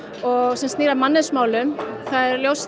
sem snýr að mannauðsmálum það er ljóst